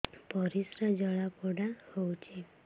ପରିସ୍ରା ଜଳାପୋଡା ହଉଛି